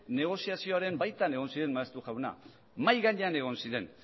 negoziazioren baitan egon ziren maeztu jauna mahia gainean egon ziren